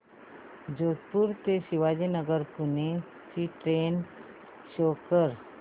जोधपुर ते शिवाजीनगर पुणे ची train show कर